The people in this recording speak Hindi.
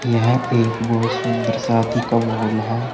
यह एक बहुत सुंदर शादी का मोल है।